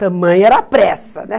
Tamanha era a pressa, né?